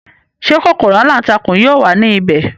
Ṣé kòkòrò aláǹtakùn yóò wà ní ibẹ̀?